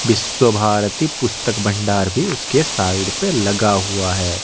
विश्व भारती पुस्तक भंडार भी उसके साइड पे लगा हुआ है।